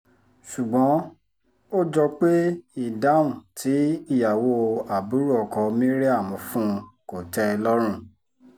ṣùgbọ́n ó jọ pé ìdáhùn tí ìyàwó àbúrò ọkọ maryam fún un kò tẹ́ ẹ lọ́rùn